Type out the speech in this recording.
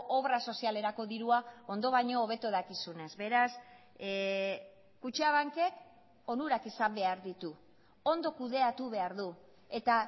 obra sozialerako dirua ondo baino hobeto dakizunez beraz kutxabankek onurak izan behar ditu ondo kudeatu behar du eta